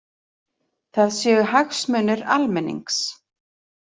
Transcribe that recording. Það séu hagsmunir almennings